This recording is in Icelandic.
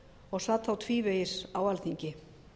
og sat þá tvívegis á alþingi